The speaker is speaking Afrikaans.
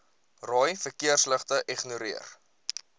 rooi verkeersligte ignoreer